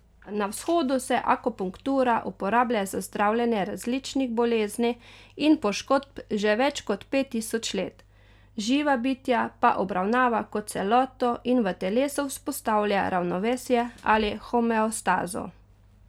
Na vzhodu se akupunktura uporablja za zdravljenje različnih bolezni in poškodb že več kot pet tisoč let, živa bitja pa obravnava kot celoto in v telesu vzpostavlja ravnovesje ali homeostazo.